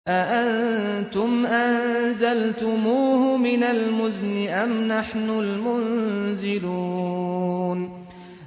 أَأَنتُمْ أَنزَلْتُمُوهُ مِنَ الْمُزْنِ أَمْ نَحْنُ الْمُنزِلُونَ